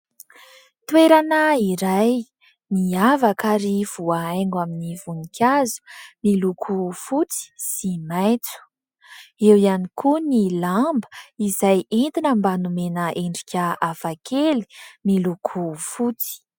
Toerana iray, miavaka ary voahaingo amin'ny voninkazo miloko fotsy sy maitso ; eo ihany koa ny lamba izay entina mba nomena endrika hafakely miloko fotsy.